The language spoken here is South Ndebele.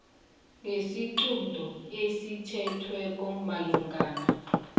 ngesiqunto esithethweko esimalungana